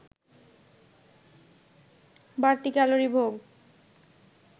বাড়তি ক্যালোরি ভোগ